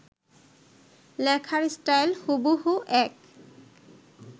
লেখার স্টাইল হুবহু এক